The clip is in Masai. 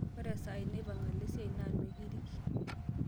ore esaa naipaang' olo esiai nemekirik